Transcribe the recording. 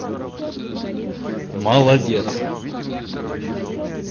молодец